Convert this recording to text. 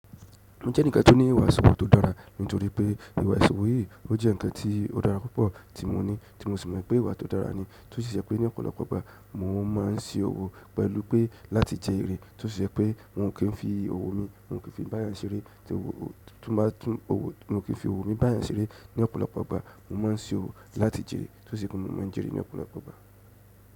Mo jẹ́ enìkan tó ó ní ìwà ìṣòwò tó dára? Nítorí pé ìwà ìṣòwò yìí, ó jẹ́ ǹkan tí ó dára púpọ̀ tí mo ní, tí mo sì mọ̀ pé ìwà tó dára ni. Tó sì ṣe pé ní ọ̀pọ̀lọpọ̀ ìgbà mo máa ń se òwò pẹ̀lú pé láti jẹ èrè. Tó sì ṣe pé on kì n fi òwò mi, on ò kí n fi bá èyàn ṣeré, tí owó, tún bá tún owó, mi ò ki n fi òwò mi bá èyàn ṣeré ní ọ̀pọ̀lọpọ̀ ìgbà mò máa ń si òwò láti jèrè. Tó sì jẹ́ pé mò máa ń jèrè ní ọ̀pọ̀lọpọ̀ ìgbà.